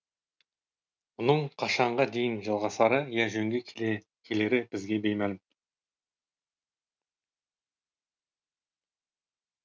мұның қашанға дейін жалғасары я жөнге келері бізге беймәлім